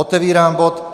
Otevírám bod